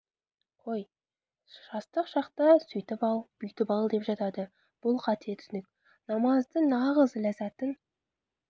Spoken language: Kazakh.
қой жастық шақта сөйтіп ал бүйтіп ал деп жатады бұл қате түсінік намаздың нағыз ләззатын